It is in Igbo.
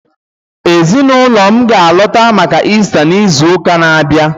Ezinụlọ m ga-alọta maka Ista n'izu na-abịa